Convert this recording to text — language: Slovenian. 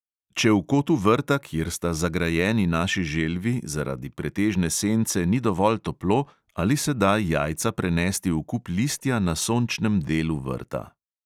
Če v kotu vrta, kjer sta zagrajeni naši želvi, zaradi pretežne sence ni dovolj toplo, ali se da jajca prenesti v kup listja na sončnem delu vrta.